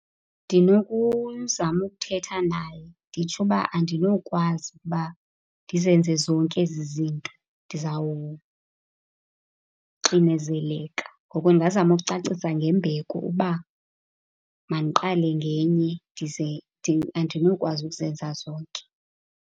Ndinokuzama ukuthetha naye nditsho ukuba andinokwazi ukuba ndizenze zonke ezi zinto, ndizawuxinezeleka. Ngoko ndingazama ukucacisa ngembeko uba mandiqale ngenye ndize , andinokwazi ukuzenza zonke.